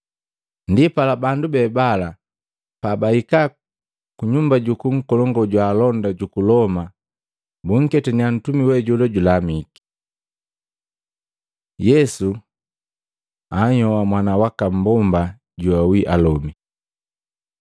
Ndipala bandu be bala pabahika kunyumba juku nkolongu jwa alonda juku Loma bunketannya ntumi we jola julamiki. Yesu anhyoha mwana waka mmbomba joawi alomi